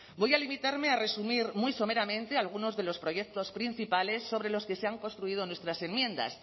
voy a limitarme a resumir muy someramente algunos de los proyectos principales sobre los que se han construido nuestras enmiendas